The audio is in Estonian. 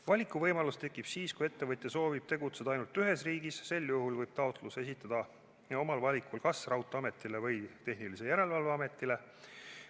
Valikuvõimalus tekib siis, kui ettevõtja soovib tegutseda ainult ühes riigis, sel juhul võib taotluse esitada omal valikul kas raudteeametile või tehnilise järelevalve ametile.